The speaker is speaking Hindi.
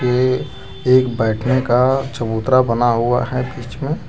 ये एक बैठने का चबूतरा बना हुआ है बीच मे--